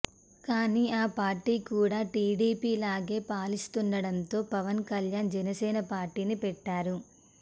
కానీ ఆ పార్టీ కూడా టీడీపీలాగే పాలిస్తుండటంతో పవన్ కళ్యాణ్ జనసేన పార్టీని పెట్టారు